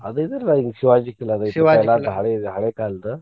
ಅದ್ ಇದಲ್ರಾ ಹಿಂಗ್ ಶಿವಾಜಿ ಕಿಲ್ಲಾ ಹಳೆ ಹಳೆ ಕಾಲ್ದ.